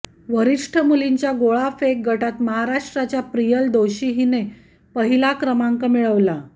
वरिष्ठ मुलींच्या गोळा फेक गटात महाराष्ट्राच्या प्रियल दोशी हिने पहिला क्रमांक मिळवला